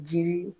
Jiri